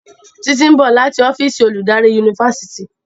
Titi nbọ lati ọ́fíìsì oludari Yunifásitìni.